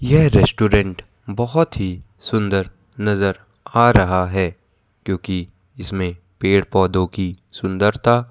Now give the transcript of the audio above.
यह रेस्टोरेंट बहोत ही सुंदर नजर आ रहा है क्योंकि इसमें पेड़ पौधों की सुंदरता--